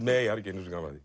nei ekki einu sinni